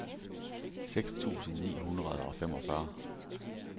seks tusind ni hundrede og femogfyrre